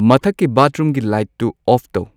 ꯃꯊꯛꯀꯤ ꯕꯥꯊꯔꯨꯝꯒꯤ ꯂꯥꯏꯠꯇꯨ ꯑꯣꯐ ꯇꯧ